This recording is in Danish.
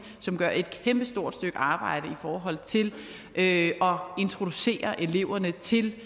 som gør et kæmpestort stykke arbejde i forhold til at introducere eleverne til